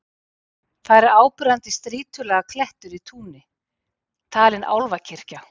Þar er áberandi strýtulaga klettur í túni, talinn álfakirkja.